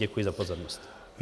Děkuji za pozornost.